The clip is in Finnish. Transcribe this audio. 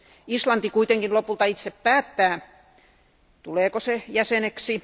Islanti kuitenkin lopulta itse päättää, tuleeko se jäseneksi.